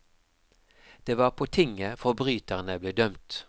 Det var på tinget forbryterne ble dømt.